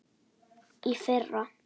Í fyrra.